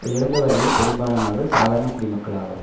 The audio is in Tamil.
இறந்தவர்களில் பெரும்பாலானவர்கள் சாதாரண குடிமக்கள் ஆவர்